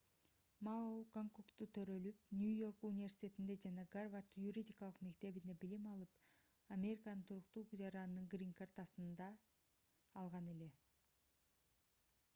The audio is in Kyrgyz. мао гонконгдо төрөлүп нью-йорк университетинде жана гарвард юридикалык мектебинде билим алып американын туруктуу жаранынын грин-картасын да алган эле